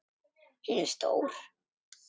Hún er stór.